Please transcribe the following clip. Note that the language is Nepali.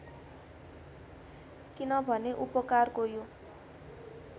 किनभने उपकारको यो